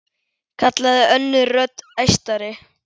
kallaði önnur rödd, æstari.